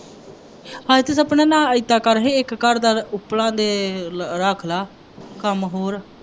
ਹਾਏ ਤੂੰ ਸਪਨਾ ਨਾ ਏਦਾਂ ਕਰ, ਇੱਕ ਘਰ ਦਾ ਉੱਪਲਾਂ ਦੇ ਰੱਖ ਲਾ, ਕੰਮ ਹੋਰ